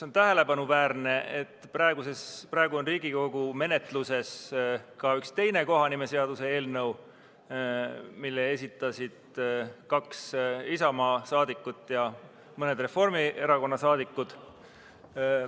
On tähelepanuväärne, et praegu on Riigikogu menetluses ka üks teine kohanimeseaduse eelnõu, mille esitasid kaks Isamaa liiget ja mõned Reformierakonna liikmed.